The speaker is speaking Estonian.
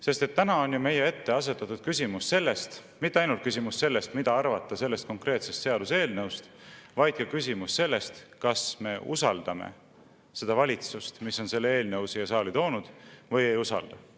Sest täna on ju meie ette asetatud mitte ainult küsimus sellest, mida arvata sellest konkreetsest seaduseelnõust, vaid ka küsimus sellest, kas me usaldame seda valitsust, kes on selle eelnõu siia saali toonud, või ei usalda.